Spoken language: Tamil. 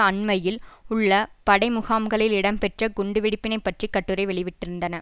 அண்மையில் உள்ள படைமுகாம்களில் இடம்பெற்ற குண்டுவெடிப்பினைப் பற்றி கட்டுரை வெளிவிட்டிருந்தன